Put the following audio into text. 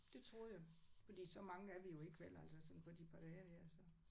Det troede jeg. Fordi så mange er vi jo ikke vel altså sådan på de par dage her så